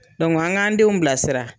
an k'an denw bila sira.